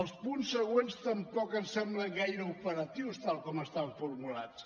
els punts següents tampoc em semblen gaire operatius tal com estan formulats